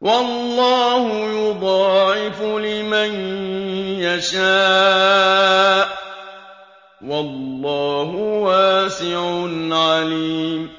وَاللَّهُ يُضَاعِفُ لِمَن يَشَاءُ ۗ وَاللَّهُ وَاسِعٌ عَلِيمٌ